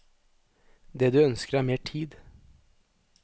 Det de ønsker er mer tid.